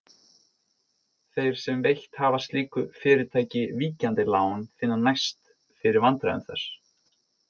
Þeir sem veitt hafa slíku fyrirtæki víkjandi lán finna næst fyrir vandræðum þess.